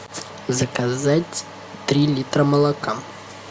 заказать три литра молока